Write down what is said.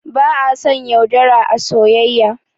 Ba a son yaudara a soyayya